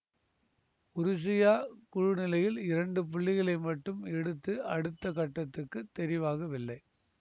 உருசியா குழுநிலையில் இரண்டு புள்ளிகளை மட்டும் எடுத்து அடுத்த கட்டத்துக்குத் தெரிவாகவில்லை